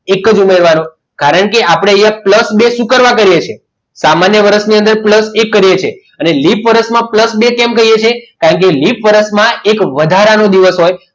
એક જ ઉમેરવાનો કારણ કે આપણે અહીંયા plus બે શું કરવા કર્યા છે સામાન્ય વર્ષની અંદર plus એક કર્યો છે અને લિપ વર્ષમાં બે વર્ષ બે plus બે કેમ કરીએ છીએ કારણ કે લિપ વર્ષમાં એક વધારાનું દિવસ હોય